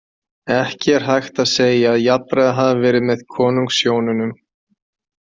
Ekki er hægt að segja að jafnræði hafi verið með konungshjónunum.